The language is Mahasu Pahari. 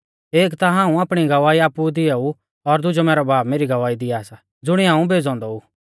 एक ता हाऊं आपणी गवाही आपु ई दिआऊ और दुजौ मैरौ बाब मेरी गवाही दिआ सा ज़ुणिऐ हाऊं भेज़ौ औन्दौ ऊ